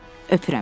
Öpürəm.